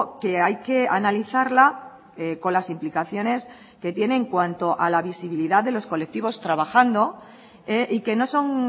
que hay que analizarla con las implicaciones que tiene en cuanto a la visibilidad de los colectivos trabajando y que no son